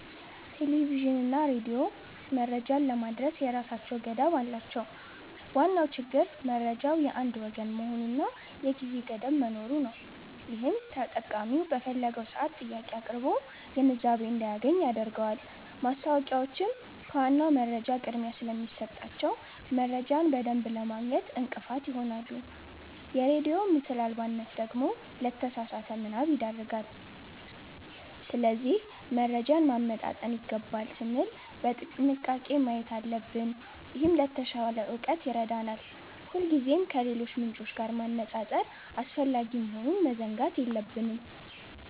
ቴሌቪዥንና ሬዲዮ መረጃን ለማድረስ የራሳቸው ገደብ አላቸው። ዋናው ችግር መረጃው የአንድ ወገን መሆኑና የጊዜ ገደብ መኖሩ ነው፤ ይህም ተጠቃሚው በፈለገው ሰዓት ጥያቄ አቅርቦ ግንዛቤ እንዳያገኝ ያደርገዋል። ማስታወቂያዎችም ከዋናው መረጃ ቅድሚያ ስለሚሰጣቸው፣ መረጃን በደንብ ለማግኘት እንቅፋት ይሆናሉ። የሬዲዮ ምስል አልባነት ደግሞ ለተሳሳተ ምናብ ይዳርጋል። ስለዚህ መረጃን ማመጣጠን ይገባል ስንል በጥንቃቄ ማየት አለብን፤ ይህም ለተሻለ እውቀት ይረዳናል። ሁሌም ከሌሎች ምንጮች ጋር ማነጻጸር አስፈላጊ መሆኑን መዘንጋት የለብንም።